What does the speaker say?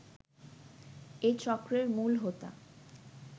এ চক্রের মূলহোতা